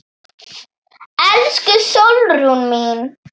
Elsku Sólrún mín.